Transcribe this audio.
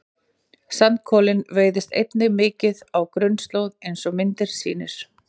Sandkolinn veiðist einnig mikið á grunnslóð eins og myndin sýnir.